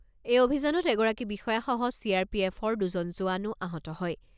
এই অভিযানত এগৰাকী বিষয়াসহ চি আৰ পি এফৰ দুজন জোৱানো আহত হয়।